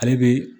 Ale bi